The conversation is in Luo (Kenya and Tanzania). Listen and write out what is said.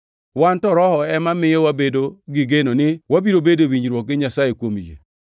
Wan to Roho ema miyo wabedo gi geno ni wabiro bedo e winjruok gi Nyasaye kuom yie.